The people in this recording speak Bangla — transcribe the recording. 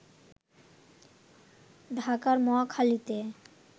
ঢাকার মহাখালীতে